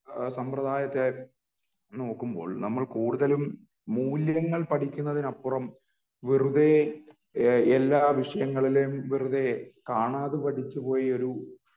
സമ്പ്രദായത്തെ നോക്കുമ്പോൾ നമ്മൾ കൂടുതലും മൂല്യങ്ങൾ പഠിക്കുന്നതിനപ്പുറം വെറുതെ ഏഹ് എല്ലാ വിഷയങ്ങളിലേം വെറുതെ കാണാതെ പഠിച്ചു പോയൊരു